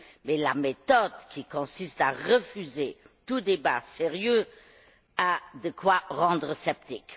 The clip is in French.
Mais la méthode qui consiste à refuser tout débat sérieux a de quoi rendre sceptique.